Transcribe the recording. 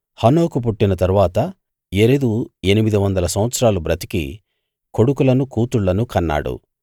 హనోకు పుట్టిన తరువాత యెరెదు ఎనిమిది వందల సంవత్సరాలు బ్రతికి కొడుకులను కూతుళ్ళను కన్నాడు